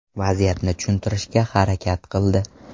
Vaziyatni tushuntirishga harakat qildi.